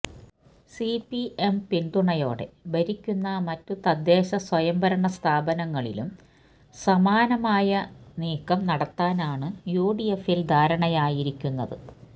CPM പിന്തുണയോടെ ഭരിക്കുന്ന മറ്റു തദ്ദേശ സ്വയംഭരണ സ്ഥാപനങ്ങളിലും സമാനമായ നീക്കം നടത്താനാണ് യുഡിഎഫിൽ ധാരണയായിരിക്കുന്നത്